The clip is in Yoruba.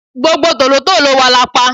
gbogbo tòlótòló wa la pa